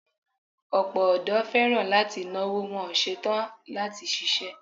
Ọ̀pọ̀ ọdọ́ fẹ́ràn láti náwó, wọn ò ṣe tán láti ṣiṣẹ́.